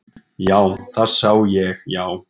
Já, það sá ég já.